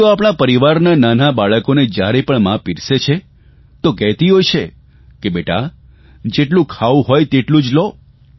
આમ તો આપણાં પરિવારમાં નાના બાળકોને જયારે મા પીરસે છે તો કહેતી હોય છે કે બેટા જેટલું ખાવું હોય એટલું જ લો